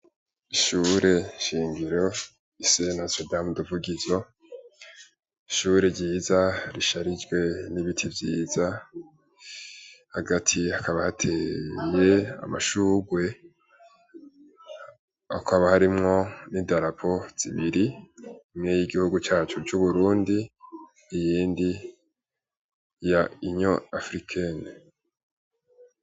Ishure shingiro Lycée notre dame de Vugizo, ishure ryiza risharijwe n'ibiti vyiza, hagati hakaba hateye amashugwe, hakaba harimwo n'idarapo zibiri imwe yigihugu cacu c'Uburundi iyindi ya Union Africaine.